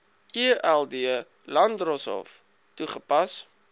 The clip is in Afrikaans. eld landdroshof toegepas